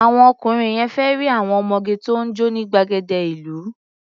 Àwọn ọkùnrin yẹn fẹ́ rí àwọn ọmọge tó ń jó ní gbàgede ìlú.